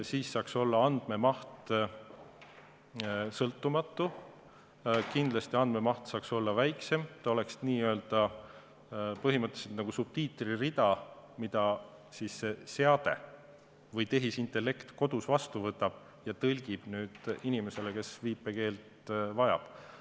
Siis oleks andmemaht sõltumatu, kindlasti saaks andmemaht olla väiksem, see oleks põhimõtteliselt nagu subtiitririda, mida see seade või tehisintellekt kodus vastu võtab ja tõlgib inimesele, kes viipekeelt vajab.